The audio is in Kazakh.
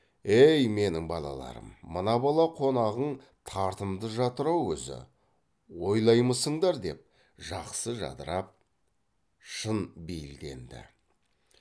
ей менің балаларым мына бала қонағың тартымды жатыр ау өзі ойлаймысыңдар деп жақсы жадырап шын бейілденді